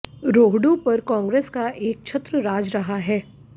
रोहडू पर कांग्रेस का एक छत्र राज रहा है